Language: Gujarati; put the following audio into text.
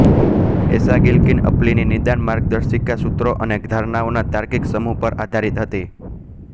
એસાગીલકીનઅપ્લીની નિદાન માર્ગદર્શિકા સૂત્રો અને ધારણાઓના તાર્કિક સમૂહ પર આધારીત હતી